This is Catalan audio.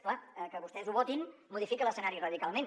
és clar que vostès ho votin modifica l’escenari radicalment